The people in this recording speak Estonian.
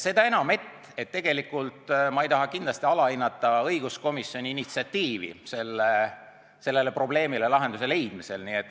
Seda enam, et tegelikult ma ei taha kindlasti alahinnata õiguskomisjoni initsiatiivi sellele probleemile lahenduse leidmisel.